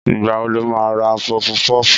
Ìgbà wo lo má ra pọfu-pọ́fù?